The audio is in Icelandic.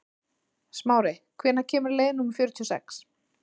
Smári, hvenær kemur leið númer fjörutíu og sex?